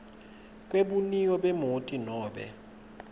kwebuniyo bemoti nobe